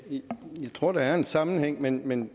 tror der er en sammenhæng men men